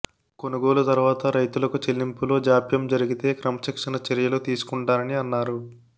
కొనుగోలు తర్వాత రైతులకు చెల్లింపులో జాప్యం జరిగితే క్రమశిక్షణ చర్యలు తీసుకుంటానని అన్నారు